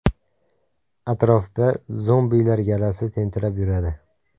Atrofda ‘zombilar’ galasi tentirab yuradi.